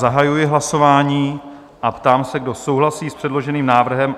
Zahajuji hlasování a ptám se, kdo souhlasí s předloženým návrhem?